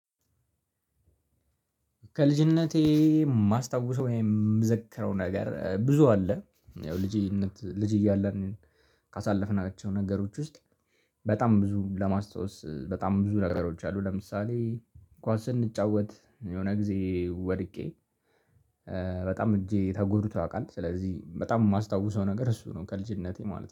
ከልጅነቴ የማስታውሰው የምዘክረው ነገር ብዙ አለ። ያው ልጅነት ልጅ እያለን ካሳለፍናቸው ነገሮች ውስጥ በጣም ብዙ ለማስታወስ በጣም ብዙ ነገሮች አሉ። ለምሳሌ እንኳን ስንጫወት የሆነ ጊዜ ወድቄ በጣም እጄ ተጎዱቶ ያውቃል ስለዚህ በጣም የማስታውሰው ነገር እሱ ነው። ከልጅነቴ ማለት ነው